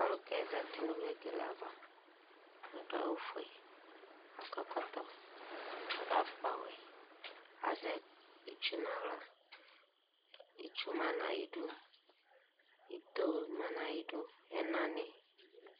Ɔlu kɛ zatɩ nu vegele ava, aɖu awu foe, akọ ɛkɔtɔ, aɖu afukpa ŵɛ, azɛ ɩtsu naɣla Ɩtsu ma nu ayiɖu, ɩto ma nu ayiɖu, ɛna ni